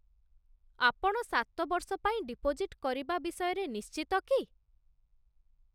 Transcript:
ଆପଣ ସାତ ବର୍ଷ ପାଇଁ ଡିପୋଜିଟ୍ କରିବା ବିଷୟରେ ନିଶ୍ଚିତ କି?